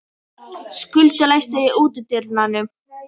Skjöldur, læstu útidyrunum.